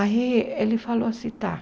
Aí ele falou assim, tá.